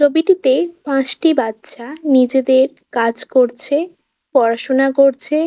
ছবিটিতে পাঁচটি বাচ্চা নিজেদের কাজ করছে পড়াশুনা করছে ।